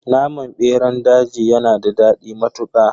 Naman beran daji yanada dadi matuka.